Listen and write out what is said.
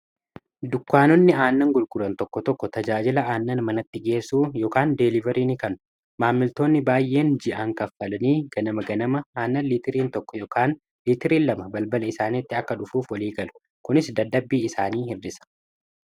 Dukkaanonni aannan gurguuraan tokko tokko tajaajilaa aannan manatti geessuu yookiin deeliveriin kan maammiltoonni baay'een ji'aan kaffalanii ganama ganama aannan liitiriin 1 yookiin liitiriin 2 balbaala isaaniitti akka dhufuuf walii galu kunis dadhabbii isaanii hir'isaa.